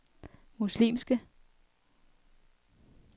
muslimske